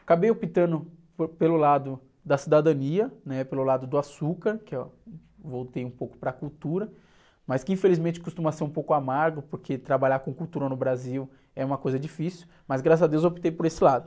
Acabei optando por, pelo lado da cidadania, né? Pelo lado do açúcar, que eu voltei um pouco para a cultura, mas que infelizmente costuma ser um pouco amargo, porque trabalhar com cultura no Brasil é uma coisa difícil, mas graças a Deus optei por esse lado.